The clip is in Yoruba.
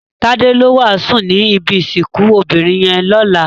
Tade ló wásùn ni ibi isikùn óbirin yèn lòlá